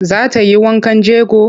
Za ta yi wankan jego?